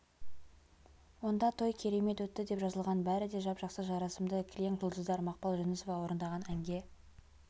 онда той керемет өтті деп жазылған бәрі де жап-жақсы жарасымды кілең жұлдыздар мақпал жүнісова орындаған әнге